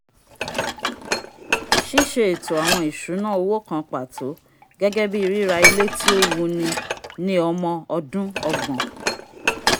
"sisé ètó awọn ìṣúná owo kan pato gẹgẹ bi rira ilé ti o wuni ni ọmọ ọdún ọgbọn"